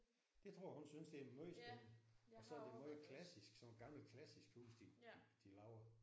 Det tror jeg hun synes det er meget spændende og så er det meget klassisk sådan nogle gamle klassiske huse de de de laver